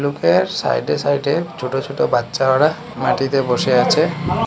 Side এ side এ ছোট ছোট বাচ্চা ওরা মাটিতে বসে আচে।